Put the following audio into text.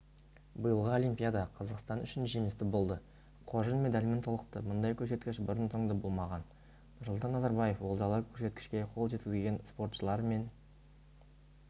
биылғы олимпиада қазақстан үшін жемісті болды қоржын медальмен толықты мұндай көрсеткіш бұрын-сонды болмаған нұрсұлтан назарбаев олжалы көрсеткішке қол жеткізген спортшылар мен